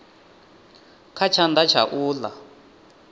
kha tshanḓa tsha u ḽa